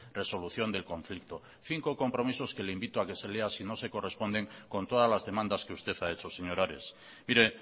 resolución del conflicto cinco compromisos que le invito a que lea si no se corresponden con todas las demandas que usted ha hecho señor ares mire